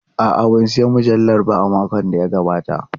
A'a, ban sayi mujalla a makon da ya gabata ba.